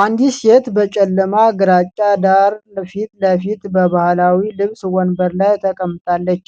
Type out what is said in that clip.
አንዲት ሴት በጨለማ ግራጫ ዳራ ፊት ለፊት በባህላዊ ልብስ ወንበር ላይ ተቀምጣለች።